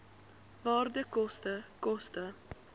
waarde koste koste